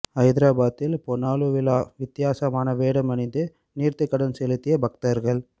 ஐதராபாத்தில் பொனாலு விழா வித்தியாசமான வேடம் அணிந்து நேர்த்தி கடன் செலுத்திய பக்தர்கள்